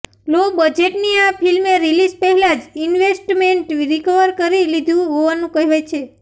લો બજેટની આ ફિલ્મે રિલિઝ પહેલાં જ ઈન્વેસ્ટમેન્ટ રિકવર કરી લીધું હોવાનું કહેવાય છે